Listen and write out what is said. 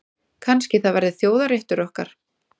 Kannski það verði þjóðarréttur okkar.